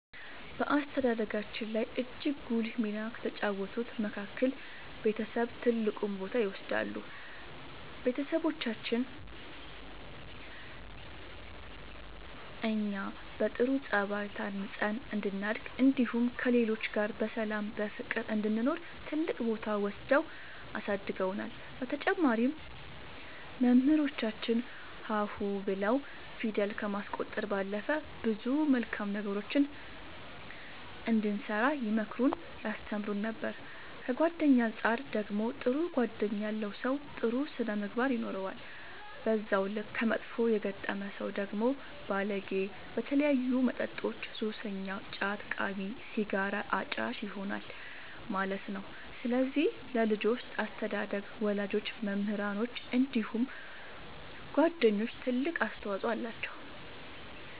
በአስተዳደጋችን ላይ እጅግ ጉልህ ሚና ከተጫወቱት መካከል ቤተሰብ ትልቁን ቦታ ይወስዳሉ ቤተሰቦቻችን እኛ በጥሩ ጸባይ ታንጸን እንድናድግ እንዲሁም ከሌሎች ጋር በሰላም በፍቅር እንድንኖር ትልቅ ቦታ ወስደው አሳድገውናል በተጨማሪም መምህራኖቻችን ሀ ሁ ብለው ፊደል ከማስቆጠር ባለፈ ብዙ መልካም ነገሮችን እንድንሰራ ይመክሩን ያስተምሩን ነበር ከጓደኛ አንፃር ደግሞ ጥሩ ጓደኛ ያለው ሰው ጥሩ ስነ ምግባር ይኖረዋል በዛው ልክ ከመጥፎ የገጠመ ሰው ደግሞ ባለጌ በተለያዩ መጠጦች ሱሰኛ ጫት ቃሚ ሲጋራ አጫሽ ይሆናል ማለት ነው ስለዚህ ለልጆች አስተዳደግ ወላጆች መምህራኖች እንዲሁም ጓደኞች ትልቅ አስተዋፅኦ አላቸው።